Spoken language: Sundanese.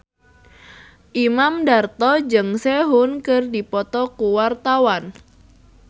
Imam Darto jeung Sehun keur dipoto ku wartawan